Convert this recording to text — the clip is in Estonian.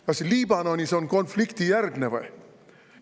Kas Liibanon on konfliktijärgne või?